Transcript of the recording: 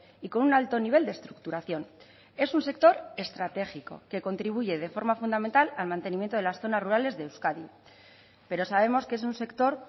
y con un alto nivel de estructuración es un sector estratégico que contribuye de forma fundamental al mantenimiento de las zonas rurales de euskadi pero sabemos que es un sector